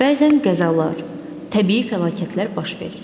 Bəzən qəzalar, təbii fəlakətlər baş verir.